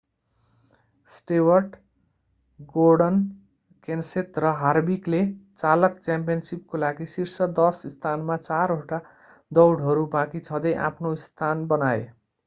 Stewart Gordon Kenseth र हार्विकले चालक च्याम्पियनसिपको लागि शीर्ष दश स्थानमा चारवटा दौडहरू बाँकी छँदै आफ्नो स्थान बनाए